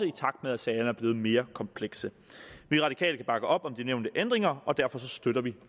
i takt med at sagerne er blevet mere komplekse vi radikale kan bakke op om de nævnte ændringer og derfor støtter vi